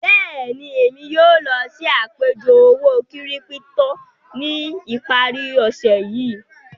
Bẹ́ẹ̀ni, èmi yóò lọ sí àpẹ̀jọ òwó-kírípítò ní ìpàrí òṣè yìí.